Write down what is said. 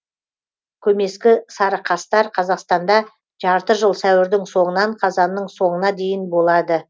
көмескі сарықастар қазақстанда жарты жыл сәуірдің соңынан қазанның соңына дейін болады